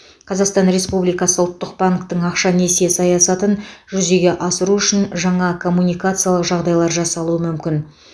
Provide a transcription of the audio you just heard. қазақстан республикасы ұлттық банктің ақша несие саясатын жүзеге асыру үшін жаңа коммуникациялық жағдайлар жасалуы мүмкін